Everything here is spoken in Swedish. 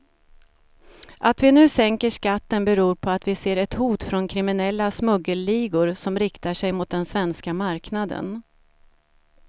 Att vi nu sänker skatten beror på att vi ser ett hot från kriminella smuggelligor som riktar sig mot den svenska marknaden.